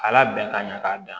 A labɛn ka ɲa k'a dan